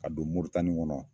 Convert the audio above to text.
Ka don Moritani kɔnɔ